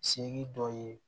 Seki dɔ ye